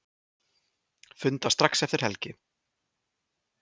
Funda strax eftir helgi